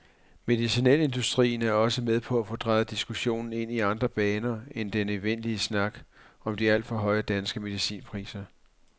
Medicinalindustrien er også med på at få drejet diskussionen ind i andre baner end den evindelige snak om de alt for høje danske medicinpriser.